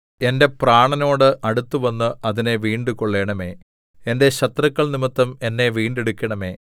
എന്റെ പ്രാണനോട് അടുത്തുവന്ന് അതിനെ വീണ്ടുകൊള്ളണമേ എന്റെ ശത്രുക്കൾ നിമിത്തം എന്നെ വീണ്ടെടുക്കണമേ